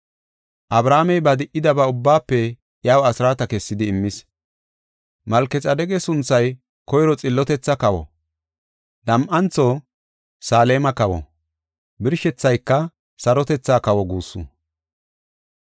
Abrahaamey ba di77idaba ubbaafe iyaw asraata kessidi immis. Malkexaadeqa sunthay koyro “Xillotethaa kawa”, nam7antho, “Saleema kawo” birshethayka “Sarotethaa kawa” guussu.